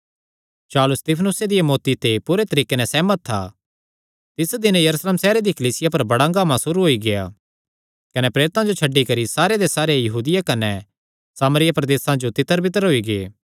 शाऊल स्तिफनुसे दिया मौत्ती ते पूरे तरीके नैं सेहमत था तिस दिन यरूशलेम सैहरे दी कलीसिया पर बड़ा हंगामा सुरू होई गेआ कने प्रेरितां जो छड्डी करी सारे दे सारे यहूदिया कने सामरिया प्रदेसां जो तितरबितर होई गै